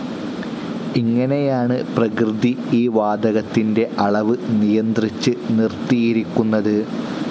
ഇങ്ങനെയാണ് പ്രകൃതി ഈ വാതകത്തിൻ്റെ അളവ് നിയന്ത്രിച്ച് നിർത്തിയിരിക്കുന്നത്.